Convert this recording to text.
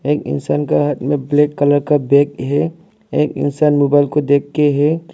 एक इंसान का हाथ में ब्लैक कलर का बैग है एक इंसान मोबाइल को देख के है।